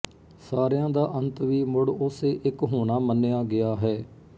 ਸਾਰਿਆਂ ਦਾ ਅੰਤ ਵੀ ਮੁੜ ਉਸੇ ਇੱਕ ਹੋਣਾ ਮੰਨਿਆ ਗਿਆ ਹੈ